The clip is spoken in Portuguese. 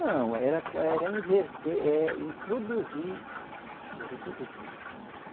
Não, era com, era inverter, é introduzir o reprodutor.